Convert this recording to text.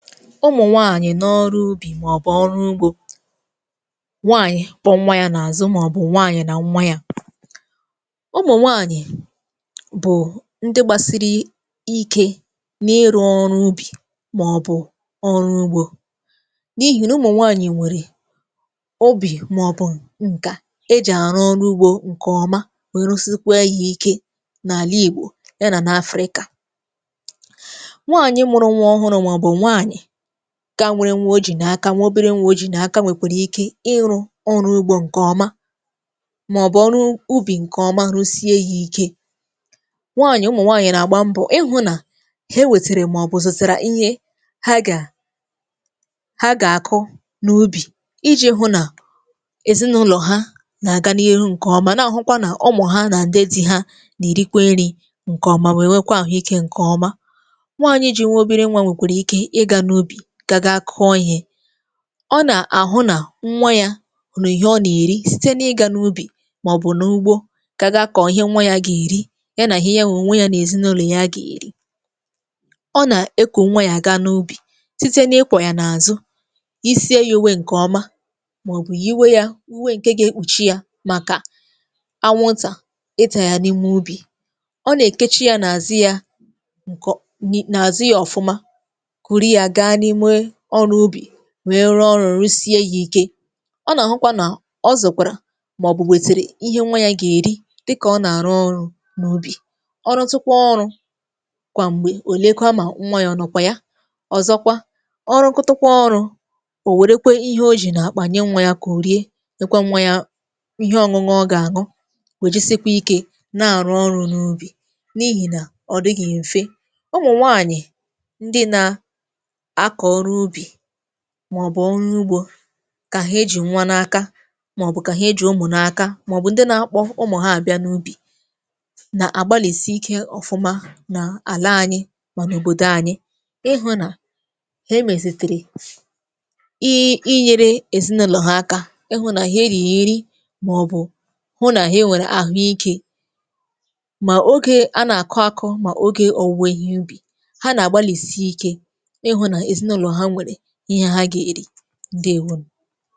Ụmụ̀nwaànyị̀ n’ọrụ ubì màọbụ̀ ọrụ ugbȯ. Nwaànyị̀ kpọ nwa yȧ n’àzụ màọbụ̀ nwaanyị̀ na nwa yȧ. Ụmụ̀nwaànyị̀ bụ̀ ndị gbasiri ikė n’iru ọrụ ubì màọbụ̀ ọrụ ugbȯ, n’ihì n’ụmụ̀nwaànyị̀ nwèrè obì, màọbụ̀ ǹkà ejì àrụ ọrụ ugbȯ ǹkè ọma, wee rusikwe yȧ ike n’àla ìgbò ya nà n’afrịkà. Nwaanyị mụrụ nwa ọhụrụ maọbu nwaanyị, ka nwe nwa ọ ji na aka, nwė obere nwa oji nà aka nwèkwèrè ike ịrụ̇ ọrụ ugbȯ ǹkè ọma, màọbụ̀ ọrụ ubì ǹkè ọma rusie ya ike. Nwaanyị̀ ụmụ̀ nwaanyị̀ nà-àgba mbọ ihụ̇ nà he wètèrè màọbụ̀ zụtara ihe ha gà ha gà-àkụ n’ubì iji̇ hụ nà èzinụlọ̀ ha nà-àga n’ihu ǹkè ọma, nà-àhụkwa nà ụmụ̀ ha nà ǹdẹ́ dị́ ha nà-èrikwe nri̇ ǹkè ọma wee nwekwa àhụ̀ ike ǹkè ọma. Nwaanyị jiri obere nwa nwekwara ike ịga na ubi ga ga kụọ ihe, ọ nà-àhụ nà nwa yȧ nwe ihe ọ nà-èri site n’ịgȧ n’ubì màọ̀bụ̀ n’ụgbọ̇ gaga akọ̀ ihe nwa yȧ gà-èri, ya nà ihe yȧ na onwe yȧ n’èzinụlọ̀ ya gà-èri. Ọ nà-eku nwa yȧ aga n’ubì site n’ịkwọ̇ yȧ n’àzụ, yisie yȧ uwe ǹkè ọma màọ̀bụ̀ yiwe yȧ uwe ǹkè ga-ekpùchi yȧ màkà anwụntà ịtà yà n’ime ubì. Ọ nà-èkechi yȧ n’àzi yȧ ǹkò n n’àzi yȧ ọ̀fụma, kuru ya ga n'ime ọrụ ubi, wee rụọ ọrụ̇ rụsie yȧ ike. Ọ nà-àhụkwa nà ọ zụ̀kwàrà, màọ̀bụ̀ nwètèrè ihe nwa yȧ gà-èri dịkà ọ nà-àrụ ọrụ̇ n’ubì, ọrụ tụkwa ọrụ̇ kwà m̀gbè, òlekwa mà nwayọ̀ ọ̀nọ̀kwà ya, ọ̀zọkwa ọrụ kụtụkwa ọrụ̇, ò wèrekwe ihe o jì nà-àkpà nye nwa yȧ kà òrie, nyekwa nwa ya ihe ọ̇ṅụṅụ ọ gà-àṅụ, o jisikwa ike na-àrụ ọrụ̇ n’ubì, n’ihì nà ọ dịghị̀ m̀fe. Ụmụ nwaanyị, ndị na akọ ọrụ ubi, maọ̀bụ̀ ọrụ ugbȯ ka he eji̇ nwa n’aka maọ̀bụ̀ ka he eji̇ umu n’aka maọ̀bụ̀ ndị na-akpọ̀ ụmụ̀ ha abịa n’ubì na-agbalisi ike ọ̀fụma na-ala anyị̇ ma n’òbodò anyị̇ ịhụ̇ na he emezitere i inyere èzinụlọ̀ ha aka, ịhụ̇ nà ha eriyiri maọ̀bụ̀ hụ nà ha e nwèrè àhụ ikė, ma ogė a na-akụ̇ akụ̇ ma ogė owuwe ihe ubì, ha na agbalisi ike ịhụ na ezinụlọ ha nwèrè ihe ha ga-eri. Ǹdewȯnù.